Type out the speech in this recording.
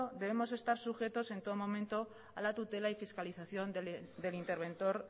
debemos estar sujetos en todos momento a la tutela y fiscalización del interventor